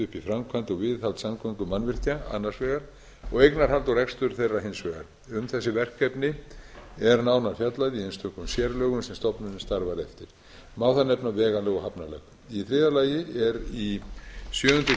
framkvæmd og viðhald samgöngumannvirkja annars vegar og eignarhald og rekstur þeirra hins vegar um þessi verkefni er nánar fjallað í einstökum sérlögum sem stofnunin starfar eftir má þar nefna vegalög og hafnalög í þriðja lagi er í sjöundu greinar